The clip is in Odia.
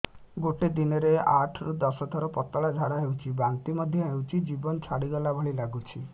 ଗୋଟେ ଦିନରେ ଆଠ ରୁ ଦଶ ଥର ପତଳା ଝାଡା ହେଉଛି ବାନ୍ତି ମଧ୍ୟ ହେଉଛି ଜୀବନ ଛାଡିଗଲା ଭଳି ଲଗୁଛି